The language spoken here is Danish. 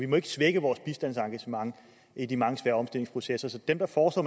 må svække vores bistandsengagement i de mange svære omstillingsprocesser så dem der foreslår